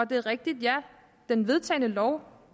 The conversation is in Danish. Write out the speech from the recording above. det er rigtigt at den vedtagne lov